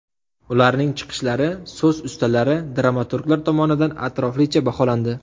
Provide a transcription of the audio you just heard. Ularning chiqishlari so‘z ustalari, dramaturglar tomonidan atroflicha baholandi.